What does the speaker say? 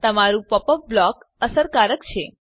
તમારું pop up blocker અસરકારક છે